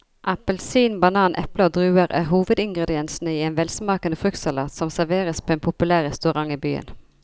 Appelsin, banan, eple og druer er hovedingredienser i en velsmakende fruktsalat som serveres på en populær restaurant i byen.